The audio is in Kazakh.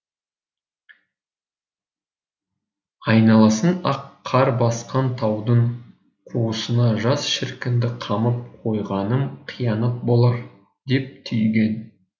айналасын ақ қар басқан таудың қуысына жас шіркінді қамап қойғаным қиянат болар деп түйген